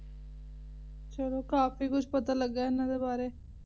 ਤੇ ਚਲੋ ਕਾਫੀ ਕੁਝ ਪਤਾ ਲੱਗਿਆ ਇੰਨਾ ਦੇ ਵਾਰੇ